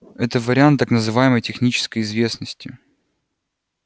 это вариант так называемой технической известности